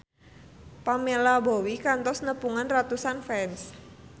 Pamela Bowie kantos nepungan ratusan fans